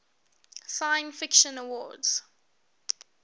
science fiction awards